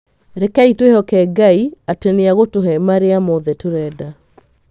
Rekei tũĩhoke Ngai atĩ nĩ agũtũhe marĩa moothe tũrenda.